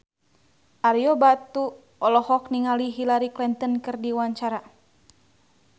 Ario Batu olohok ningali Hillary Clinton keur diwawancara